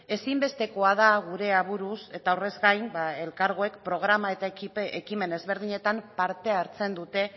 ezinbestekoa da gure aburuz eta horrez gain ba elkargoek programa eta ekimen ezberdinetan parte hartzen dute